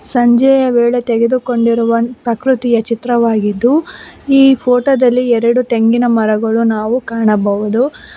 ಸಂಜೆಯ ವೇಳೆ ತೆಗೆದುಕೊಂಡಿರುವ ಪ್ರಕೃತಿಯ ಚಿತ್ರವಾಗಿದ್ದು ಈ ಫೋಟೋ ದಲ್ಲಿ ಎರಡು ತೆಂಗಿನ ಮರಗಳು ನಾವು ಕಾಣಬಹುದು.